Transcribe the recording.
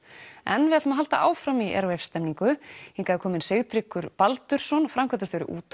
en við höldum áfram í Airwaves stemningu hingað er kominn Sigtryggur Baldursson framkvæmdastjóri